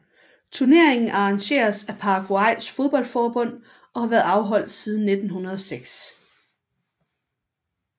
Turneringen arrangeres af Paraguays fodboldforbund og har været afholdt siden 1906